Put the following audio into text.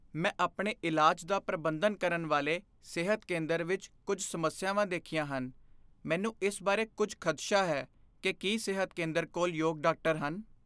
ਮੈਂ ਆਪਣੇ ਇਲਾਜ ਦਾ ਪ੍ਰਬੰਧਨ ਕਰਨ ਵਾਲੇ ਸਿਹਤ ਕੇਂਦਰ ਵਿੱਚ ਕੁੱਝ ਸਮੱਸਿਆਵਾਂ ਦੇਖੀਆਂ ਹਨ। ਮੈਨੂੰ ਇਸ ਬਾਰੇ ਕੁੱਝ ਖਦਸ਼ਾ ਹੈ ਕਿ ਕੀ ਸਿਹਤ ਕੇਂਦਰ ਕੋਲ ਯੋਗ ਡਾਕਟਰ ਹਨ।